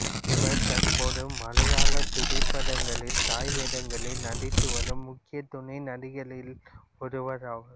இவர் தற்போது மலையாளத் திரைப்படங்களில் தாய் வேடங்களில் நடித்துவரும் முக்கிய துணை நடிகைகளில் ஒருவராவார்